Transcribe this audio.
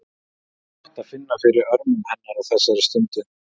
Það er gott að finna fyrir örmum hennar á þessari stundu.